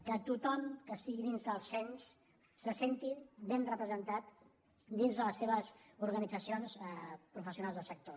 que tothom que estigui dins del cens se senti ben represen·tat dins de les seves organitzacions professionals del sector